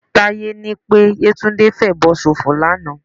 Táyé ní pé Yétúndé ń fèèbó ṣòfò lánàá